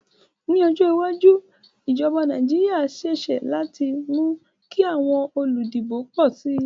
Ní ojó iwájú, ìjoba Naijiria sisé láti mú kí àwon olùdìbò pò si